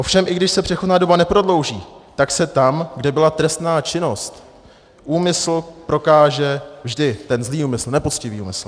Ovšem i když se přechodná doba neprodlouží, tak se tam, kde byla trestná činnost, úmysl prokáže vždy, ten zlý úmysl, nepoctivý úmysl.